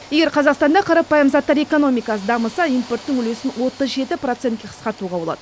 егер қазақстанда қарапайым заттар экономикасы дамыса импорттың үлесін отыз жеті процентке қысқартуға болады